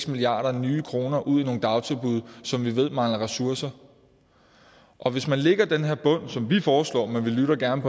milliarder nye kroner ud i nogle dagtilbud som vi ved mangler ressourcer og hvis man lægger den her bund som vi foreslår vi lytter gerne